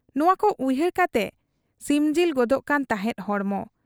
ᱱᱚᱣᱟᱠᱚ ᱩᱭᱦᱟᱹᱨ ᱠᱟᱛᱮ ᱥᱤᱢᱡᱤᱞ ᱜᱚᱫᱚᱜ ᱠᱟᱱ ᱛᱟᱦᱮᱸᱫ ᱦᱚᱲᱢᱚ ᱾